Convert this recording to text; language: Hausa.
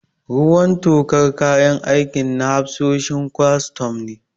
Ruwan tokar kayan aikin na hafsoshin kwastam ne.